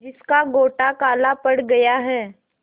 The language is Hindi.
जिसका गोटा काला पड़ गया है